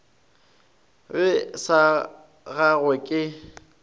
ge e sa gangwe ke